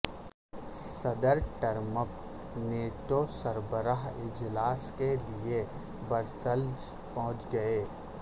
صدر Trump NATO سربراہ اجلاس کے لیے برسلز پہنچ گئے